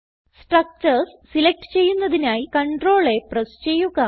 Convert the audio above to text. structures select ചെയ്യുന്നതിനായി CTRLA press ചെയ്യുക